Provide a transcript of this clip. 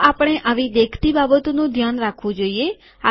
તો આપણે આવી દેખતી બાબતોનું ધ્યાન રાખવું જોઈએ